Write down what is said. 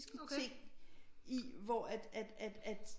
Ting i hvor at at